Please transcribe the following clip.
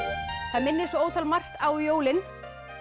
það minnir svo ótal margt á jólin